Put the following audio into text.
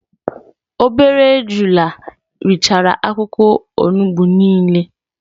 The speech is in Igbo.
Obere ejula richara akwukwo onugbu nile